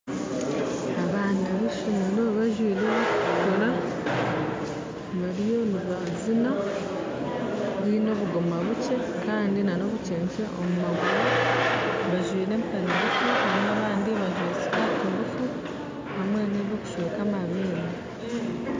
Abaana ba ishomero bajwaire ebirikutukura bariyo nibazina baine obugoma bukye hamwe na obunkyenkye omumaguru bajwaire empare ngufu kandi abandi bajwaire sikati ngufu hamwe n'ebyokusweka amabeere